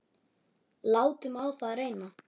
Látum á það reyna.